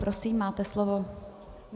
Prosím, máte slovo.